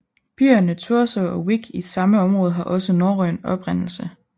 Byerne Thurso og Wick i samme område har også norrøn oprindelse